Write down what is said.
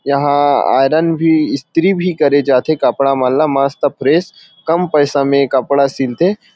यहाँ आयरन भी स्त्री भी करे जाथे कपड़ा वाला मस्त फ्रेश कम पैसा में कपड़ा सिलथे।